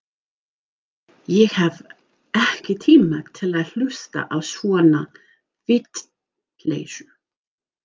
Ég hef ekki tíma til að hlusta á svona vitleysu.